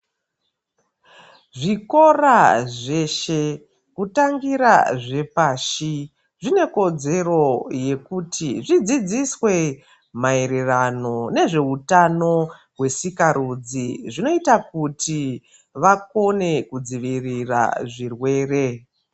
Zvikora zveshe kutangira zvepashi zvinekodzero yekuti zvidzidziswe maererano nezveutano hwesikarudzi zvinoita kuti zvakone kudzivirira zvirwere.